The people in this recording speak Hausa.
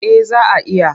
Eh za a iya.